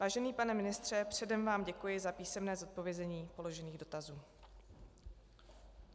Vážený pane ministře, předem vám děkuji za písemné zodpovězení přiložených dotazů.